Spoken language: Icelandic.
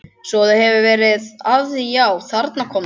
Svo þú hefur verið að því já, þarna kom það.